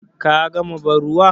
Ka gama bar ruwan?